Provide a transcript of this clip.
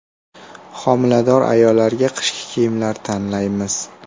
Homilador ayollarga qishki kiyimlar tanlaymiz.